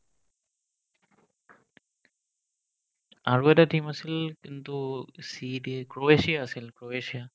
আৰু এটা team আছিল কিন্তু c দি ক্ৰ'এছিয়া আছিল ক্ৰ'এছিয়া